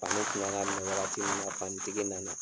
fani kun kan ka minɛ wagati min na, fani tigi nana.